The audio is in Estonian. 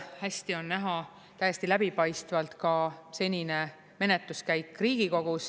Hästi on näha täiesti läbipaistvalt ka senine menetluskäik Riigikogus.